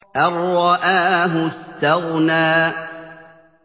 أَن رَّآهُ اسْتَغْنَىٰ